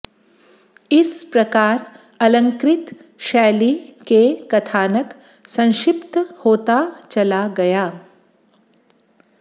इस प्रकार अलंकृत शैली के कथानक संक्षिप्त होता चला गया